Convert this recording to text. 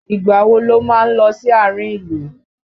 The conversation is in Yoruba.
Ìgbà wo lo máa ń lọ sí àárín ìlú?